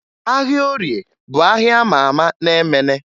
Ahịa Orie bụ ahịa a ma ama na Emene